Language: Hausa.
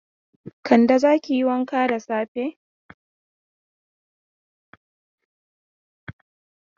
Kande, za ki yi wanka da safe!